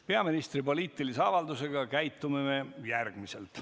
Peaministri poliitilise avalduse korral me käitume järgmiselt.